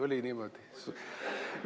Oli niimoodi?